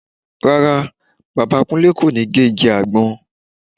Rárá, Bàbá Kúnlé kò ní gé igi àgbọn